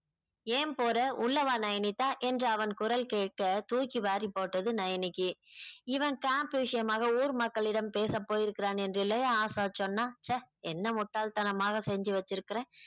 ஏன் போற உள்ள வா நயனித்தா என்ற அவன் குரல் கேட்க தூக்கி வாரி போட்டது நயனிக்கு இவன் camp விஷயமாக ஊர் மக்களிடம் பேசப் போயிருக்கிறான் என்று இல்லையே ஆஷா சொன்னாள் ச என்ன முட்டாள் தனமாக செஞ்சி வெச்சிருக்கிறேன்